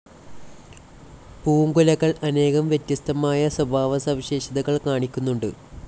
പൂങ്കുലകൾ അനേകം വ്യത്യസ്തമായ സ്വഭാവസവിശേഷതകൾ കാണിക്കുന്നുണ്ട്.